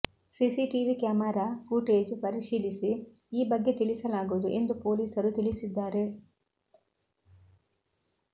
CCTV camera footage ಪರಿಶೀಲಿಸಿ ಈ ಬಗ್ಗೆ ತಿಳಿಸಲಾಗುವುದು ಎಂದು ಪೊಲೀಸರು ತಿಳಿಸಿದ್ದಾರೆ